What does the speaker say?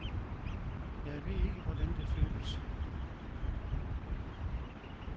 Jeg ved ikke, hvordan det føles.